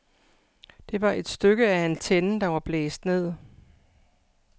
Det var et stykke af antennen, der var blæst ned.